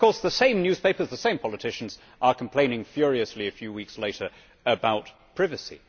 Then, of course, the same newspapers and the same politicians complain furiously a few weeks later about privacy.